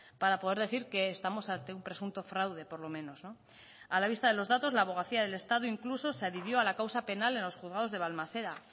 para poder decir que estamos ante un presunto fraude por lo menos a la vista de los datos la abogacía del estado incluso se adhirió a la causa penal en los juzgados de balmaseda